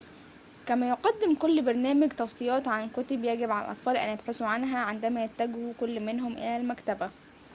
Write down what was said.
كما يقدم كل برنامج توصيات عن كتب يجب على الأطفال أن يبحثوا عنها عندما يتوجه كل منهم إلى المكتبة